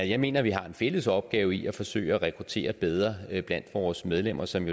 jeg mener vi har en fælles opgave i at forsøge at rekruttere bedre blandt vores medlemmer som